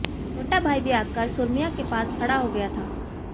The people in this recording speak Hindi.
छोटा भाई भी आकर सुरम्या के पास खड़ा हो गया था